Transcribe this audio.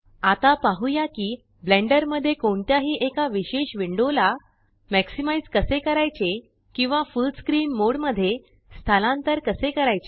आता पाहुया की ब्लेंडर मध्ये कोणत्याही एका विशेष विंडो ला मॅक्सिमाइज़ कसे करायचे किंवा फुल्ल स्क्रीन मोड मध्ये स्थालांतर कसे करायचे